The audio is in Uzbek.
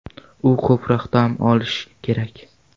U ko‘proq dam olishi kerak.